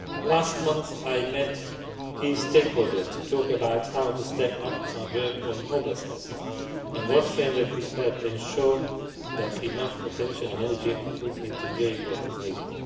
Last month, I met key stakeholders to talk about how to step up our work on homelessness and what framework would help ensure that enough attention and energy are put into doing what is needed.